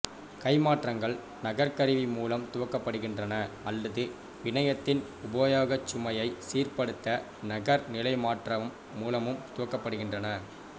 கைமாற்றங்கள் நகர்கருவி மூலம் துவக்கப்படுகின்றன அல்லது பிணையத்தின் உபயோகச் சுமையை சீர்ப்படுத்த நகர் நிலைமாற்றகம் மூலமும் துவக்கப்படுகின்றன